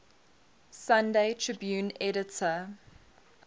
sunday tribune editor